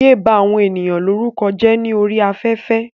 Yéé bá àwọn ènìyàn lórúkọ jẹ́ ní orí afẹ́fẹ́.